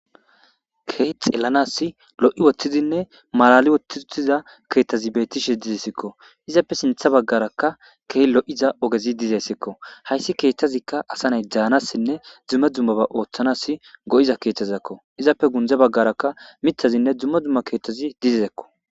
Keey xellanas lo'i woththizinne malali wothtiutiza keettazi beettishe dizesikko izappe sintha baggarakka kee lo'iza ogezi dizessikko hayssi keettazikka asa nay daanassinne dzumma dummaba ooththanas go'iza keethazakko izappe gundza baggaraka mithazinne dzumma dzumma keettazi dizezekko.